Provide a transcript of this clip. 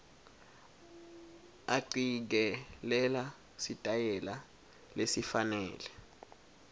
acikelela sitayela lesifanele